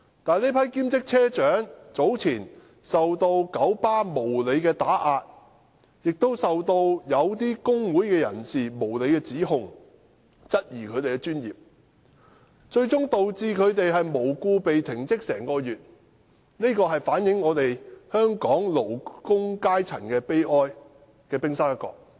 但這批兼職車長早前遭九巴無理打壓，並受到某些工會人士無理指控，質疑他們的專業精神，最終導致他們無故被停職1個月，這反映香港勞工階層的悲哀，而這只是冰山一角。